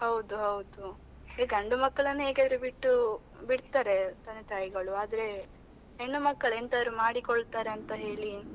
ಹೌದು ಹೌದು, ಈ ಗಂಡು ಮಕ್ಕಳನ್ನು ಹೇಗಾದ್ರು ಬಿಟ್ಟು ಬಿಡ್ತಾರೆ ತಂದೆ ತಾಯಿಗಳು ಆದ್ರೆ ಹೆಣ್ಣು ಮಕ್ಕಳು ಎಂತಾದ್ರು ಮಾಡಿ ಕೊಳ್ತಾರೆ ಅಂತ ಹೇಳಿ,